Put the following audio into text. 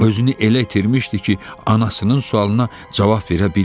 Özünü elə itirmişdi ki, anasının sualına cavab verə bilmirdi.